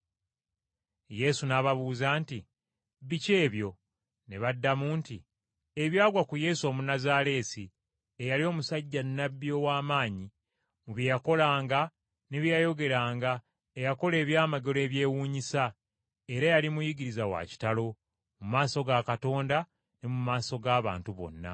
Yesu n’ababuuza nti, “Biki ebyo?” Ne baddamu nti, “Ebyagwa ku Yesu Omunnazaaleesi eyali omusajja Nnabbi ow’amaanyi mu bye yakolanga ne bye yayogeranga eyakola ebyamagero ebyewuunyisa, era yali Muyigiriza wa kitalo, mu maaso ga Katonda ne mu maaso g’abantu bonna.